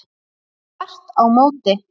Þvert á móti!